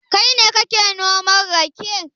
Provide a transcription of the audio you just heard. Kai ne kake noman rake?